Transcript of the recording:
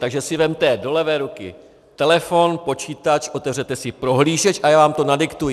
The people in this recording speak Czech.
Takže si vezměte do levé ruky telefon, počítač, otevřete si prohlížeč a já vám to nadiktuji.